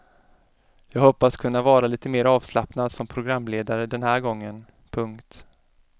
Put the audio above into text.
Jag hoppas kunna vara lite mer avslappnad som programledare den här gången. punkt